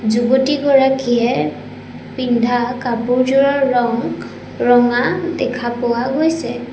যুৱতীগৰাকীয়ে পিন্ধা কাপোৰজোৰৰ ৰং ৰঙা দেখা পোৱা গৈছে।